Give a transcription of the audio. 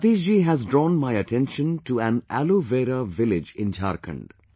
Satish ji has drawn my attention to an Aloe Vera Village in Jharkhand